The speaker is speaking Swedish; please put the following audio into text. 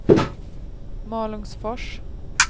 Malungsfors